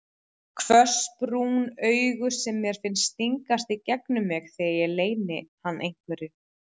Hvöss brún augu sem mér finnst stingast í gegnum mig þegar ég leyni hann einhverju.